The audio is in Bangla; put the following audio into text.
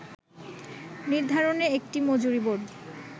নির্ধারণে একটি মজুরিবোর্ড